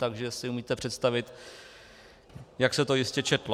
Takže si umíte představit, jak se to jistě četlo.